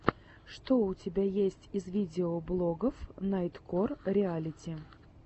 что у тебя есть из видеоблогов найткор реалити